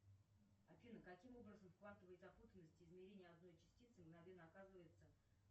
афина каким образом в квантовой запутанности измерение одной частицы мгновенно оказывается